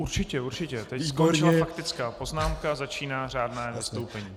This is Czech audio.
Určitě, určitě, teď skončila faktická poznámka, začíná řádné vystoupení.